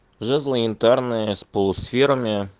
жезлы янтарные с полусферами